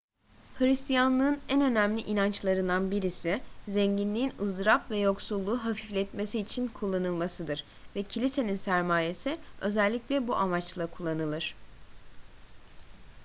hristiyanlığın en önemli inançlarından birisi zenginliğin ızdırap ve yoksulluğu hafifletmesi için kullanılmasıdır ve kilisenin sermayesi özellikle bu amaçla kullanılır